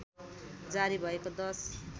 जारी भएको १०